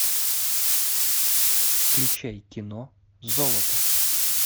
включай кино золото